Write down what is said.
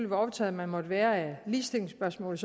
hvor optaget man måtte være af ligestillingsspørgsmålet